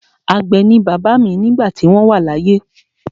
Àgbẹ̀ ni bàbá mi nígbà tí wọ́n wà láyé.